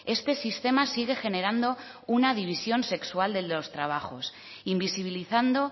este sistema sigue generando una división sexual en los trabajos invisibilizando